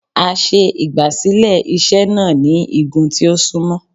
A ṣe igbasilẹ iṣe náá ni igùn ti o sunmọ